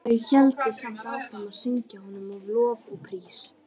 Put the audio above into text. Þau héldu samt áfram að syngja honum lof og prís.